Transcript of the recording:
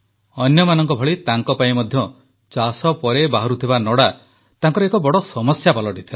ଅନ୍ୟମାନଙ୍କ ଭଳି ତାଙ୍କପାଇଁ ମଧ୍ୟ ଚାଷ ପରେ ବାହାରୁଥିବା ନଡ଼ା ତାଙ୍କର ଏକ ବଡ଼ ସମସ୍ୟା ପାଲଟିଥିଲା